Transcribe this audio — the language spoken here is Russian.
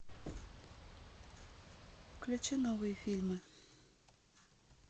включи новые фильмы